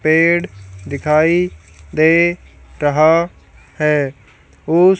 पेड़ दिखाई दे रहा है उस--